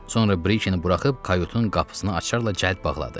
Sonra Brikeni buraxıb kayutun qapısını açarla cəld bağladı.